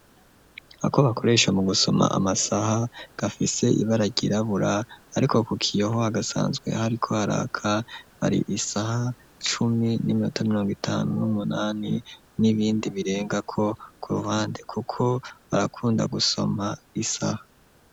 Ako bakoresha mu gusoma amasaha gafise ibararyirabura, ariko ku kiyeho hagasanzwe hari ko haraka bari isaha cumi n'iminota mirongitanu n'umunani n'ibindi birengako ku ruhande, kuko barakunda gusoma isaha.